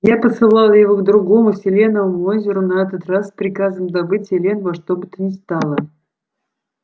я посылал его к другому селеновому озеру на этот раз с приказом добыть селен во что бы то ни стало